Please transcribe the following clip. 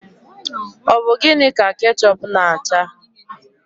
Ọ bụ gịnị ka kechup na acha?